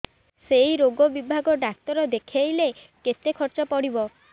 ସେଇ ରୋଗ ବିଭାଗ ଡ଼ାକ୍ତର ଦେଖେଇଲେ କେତେ ଖର୍ଚ୍ଚ ପଡିବ